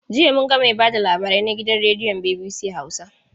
Jiya mun ga mai ba da labarai na gidan rediyon BBC Hausa.